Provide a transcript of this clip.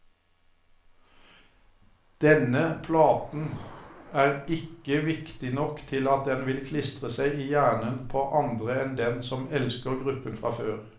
Denne platen er ikke viktig nok til at den vil klistre seg i hjernen på andre enn dem som elsker gruppen fra før.